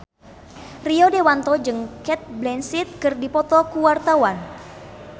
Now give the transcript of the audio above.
Rio Dewanto jeung Cate Blanchett keur dipoto ku wartawan